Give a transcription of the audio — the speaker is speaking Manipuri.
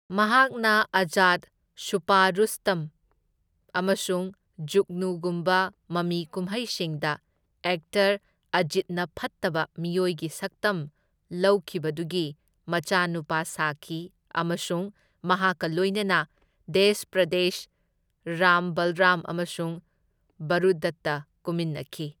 ꯃꯍꯥꯛꯅ ꯑꯖꯥꯗ, ꯁꯨꯄꯥ ꯔꯨꯁꯇꯝ ꯑꯃꯁꯨꯡ ꯖꯨꯒꯅꯨꯒꯨꯝꯕ ꯃꯃꯤꯀꯨꯃꯩꯁꯤꯡꯗ ꯑꯦꯛꯇꯔ ꯑꯖꯤꯠꯅ ꯐꯠꯇꯕ ꯃꯤꯑꯣꯢꯒꯤ ꯁꯛꯇꯝ ꯂꯧꯈꯤꯕꯗꯨꯒꯤ ꯃꯆꯥꯅꯨꯄꯥ ꯁꯥꯈꯤ ꯑꯃꯁꯨꯡ ꯃꯍꯥꯛꯀ ꯂꯣꯢꯅꯅ ꯗꯦꯁ ꯄꯔꯗꯦꯁ, ꯔꯥꯝ ꯕꯜꯔꯥꯝ ꯑꯃꯁꯨꯡ ꯕꯔꯨꯗꯇ ꯀꯨꯝꯃꯤꯟꯅꯈꯤ꯫